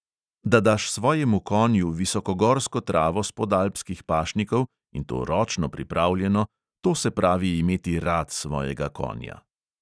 Da daš svojemu konju visokogorsko travo s podalpskih pašnikov, in to ročno pripravljeno – to se pravi imeti rad svojega konja.